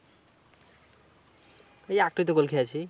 এই একটাই তো goal খেয়েছি।